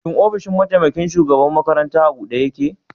Shin ofishin mataimaƙin shugaɓan maƙaranta a buɗe yake?